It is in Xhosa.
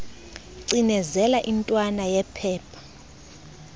cinezela intwana yephepha